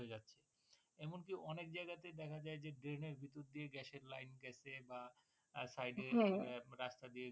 এমনকি অনেক জায়গায় দেখা যায় যে drain এর ভিতর দিয়ে Gas এর Line গেছে বা Side এ আহ রাস্তা।